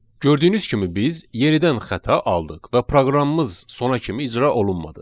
Gördüyünüz kimi biz yenidən xəta aldıq və proqramımız sona kimi icra olunmadı.